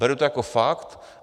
Beru to jako fakt.